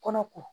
Kɔnɔ ko